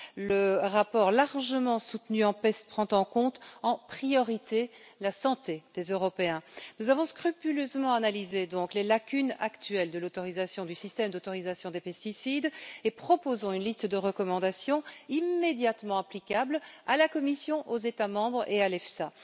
Le rapport, largement soutenu en commission PEST, prend en compte, en priorité, la santé des Européens. Nous avons scrupuleusement analysé les lacunes actuelles du système d'autorisation des pesticides et proposons une liste de recommandations immédiatement applicables à la Commission, aux États membres et à l'EFSA.